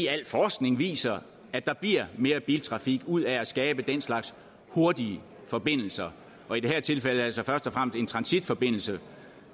al forskning viser at der bliver mere biltrafik ud af at skabe den slags hurtige forbindelser og i det her tilfælde altså først og fremmest en transitforbindelse